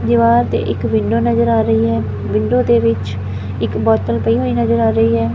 ਦੀਵਾਰ ਤੇ ਇੱਕ ਵਿੰਡੋ ਨਜ਼ਰ ਆ ਰਹੀ ਹੈ ਵਿੰਡੋ ਦੇ ਵਿੱਚ ਇੱਕ ਬੋਤਲ ਪਈ ਹੋਈ ਨਜ਼ਰ ਆ ਰਹੀ ਹੈ।